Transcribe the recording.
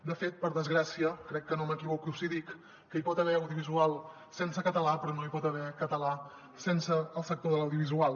de fet per desgràcia crec que no m’equivoco si dic que hi pot haver audiovisual sense català però no hi pot haver català sense el sector de l’audiovisual